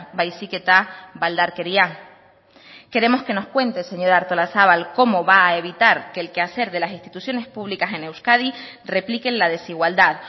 baizik eta baldarkeria queremos que nos cuente señora artolazabal cómo va a evitar que el quehacer de las instituciones públicas en euskadi replique en la desigualdad